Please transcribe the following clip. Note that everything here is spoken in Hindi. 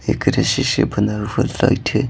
एक रसे से बनदा हुआ लाइट है।